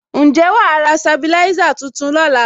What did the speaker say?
Ǹjẹ́ wàá ra sabilisa tuntun lóla?